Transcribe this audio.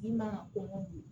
Min mana ko